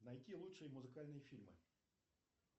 найти лучшие музыкальные фильмы